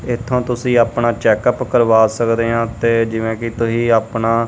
ਇਥੋਂ ਤੁਸੀਂ ਆਪਣਾ ਚੈੱਕ ਅਪ ਕਰਵਾ ਸਕਦੇ ਹਾਂ ਤੇ ਜਿਵੇਂ ਕਿ ਤੁਸੀਂ ਆਪਣਾ--